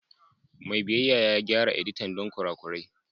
Mai biyayya ya gyara editan don kurakurai.